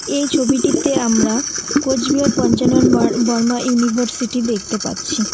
এই ছবিটিতে আমরা কোচবিহার পঞ্চানন বর-বর্মা ইউনিভার্সিটি দেখতে পাচ্ছি।